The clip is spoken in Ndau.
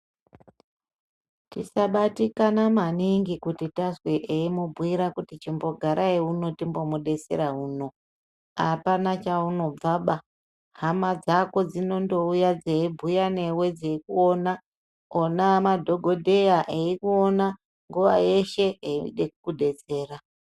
Tisabatikana maningi kuti tazwe eimubhuyira kuti chimbogarai uno timbomudetsera uno, hapana chaunobvaba, hama dzako dzinondouya dzeibhuya newe dzeikuona, ona madhokodheya eikuona, nguva yeshe eide kudetsera.